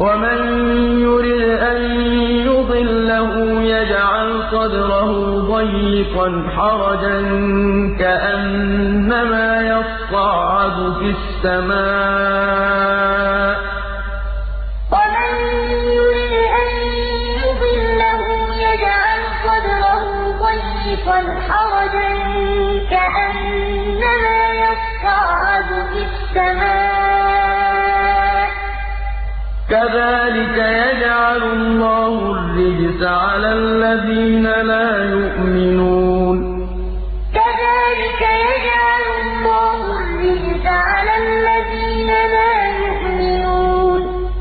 وَمَن يُرِدْ أَن يُضِلَّهُ يَجْعَلْ صَدْرَهُ ضَيِّقًا حَرَجًا كَأَنَّمَا يَصَّعَّدُ فِي السَّمَاءِ ۚ كَذَٰلِكَ يَجْعَلُ اللَّهُ الرِّجْسَ عَلَى الَّذِينَ لَا يُؤْمِنُونَ فَمَن يُرِدِ اللَّهُ أَن يَهْدِيَهُ يَشْرَحْ صَدْرَهُ لِلْإِسْلَامِ ۖ وَمَن يُرِدْ أَن يُضِلَّهُ يَجْعَلْ صَدْرَهُ ضَيِّقًا حَرَجًا كَأَنَّمَا يَصَّعَّدُ فِي السَّمَاءِ ۚ كَذَٰلِكَ يَجْعَلُ اللَّهُ الرِّجْسَ عَلَى الَّذِينَ لَا يُؤْمِنُونَ